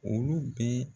Olu bɛ